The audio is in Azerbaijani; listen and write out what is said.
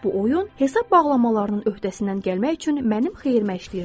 Bu oyun hesab bağlamalarının öhdəsindən gəlmək üçün mənim xeyrimə işləyirdi.